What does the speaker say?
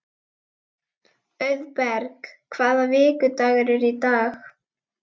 Auðberg, hvaða vikudagur er í dag?